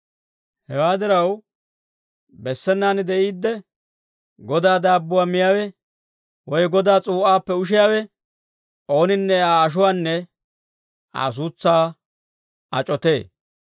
Hewaa diraw, bessenaan de'iidde Godaa daabbuwaa miyaawe, woy Godaa s'uu'aappe ushiyaawe ooninne Aa ashuwaanne Aa suutsaa ac'otee.